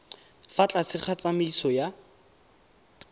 fa tlase ga tsamaiso ya